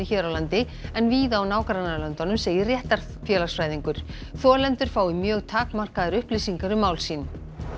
hér á landi en víða í nágrannalöndunum segir þolendur fái mjög takmarkaðar upplýsingar um mál sín